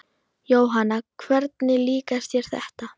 Jóhanna: Hvernig líkar þér þetta?